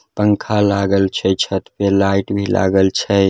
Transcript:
पंखा लागल छै छत पर लाइट भी लागल छै ।